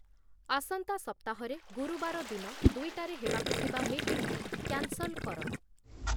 ଆସନ୍ତା ସପ୍ତାହରେ ଗୁରୁବାର ଦିନ ଦୁଇଟାରେ ହେବାକୁ ଥିବା ମିଟିଂକୁ କ୍ୟାନ୍‌ସଲ୍ କର